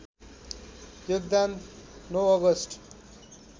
योगदान ९ अगस्ट